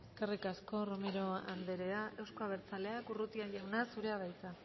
eskerrik asko romero anderea euzko abertzaleak urrutia jauna zurea da hitza